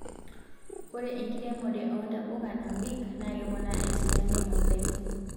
Ore enkiremore oontapuka naabik na keponaa eseriani oodakiin